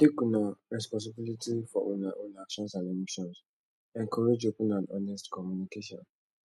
take una responsibility for una own actions and emotions encourage open and honest communication